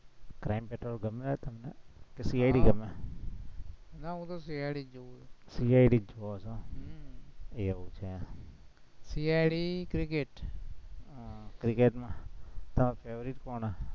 crime petrol ગમે તમને? કે CID ગમે, ના હું તો CID જ જોવ છું CID જ જોવો છો એમ? હમ એવું છે એમ CID cricket, cricket માં favorite કોણ